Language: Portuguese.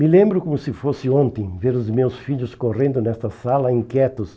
Me lembro como se fosse ontem, ver os meus filhos correndo nesta sala, inquietos,